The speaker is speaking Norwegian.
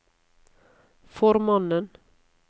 formannen